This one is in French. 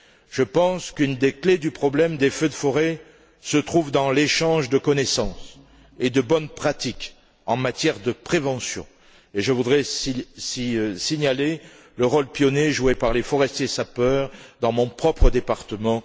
Je pense qu'une des clés du problème des feux de forêt se trouve dans l'échange de connaissances et de bonnes pratiques en matière de prévention et je voudrais signaler le rôle pionnier joué par les forestiers sapeurs dans mon propre département.